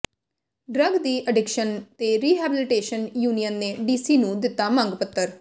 drug de addiction ਤੇ rehabilitation union ਨੇ DC ਨੂੰ ਦਿੱਤਾ ਮੰਗ ਪੱਤਰ